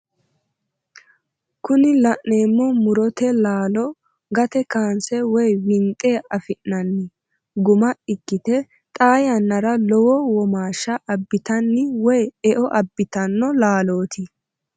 kuni la'neemo murote laalo gate kanse woyi winxe afi'nanni gumma ikkite xaa yannara lowo womaashsha abitaano woye e"o abbitanno laalooti.